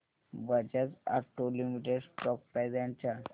Bajaj auto limited stock price and chart